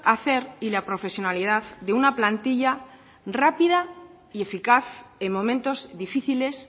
hacer y la profesionalidad de una plantilla rápida y eficaz en momentos difíciles